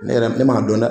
Ne yɛrɛ ne m'a dɔn dɛ